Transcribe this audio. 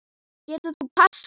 Getur þú passað?